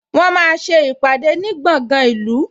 Wọ́n máa ń ṣe ìpàdé ní gbọ̀ngan ìlú